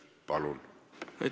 Palun!